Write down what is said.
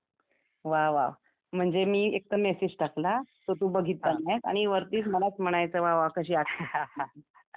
वाह वाह म्हणजे मी एक तर मेसेज टाकला तर तू बघतील नाही, आणि वरती मलाच म्हणायचं वाह वाह कशी आठवण आली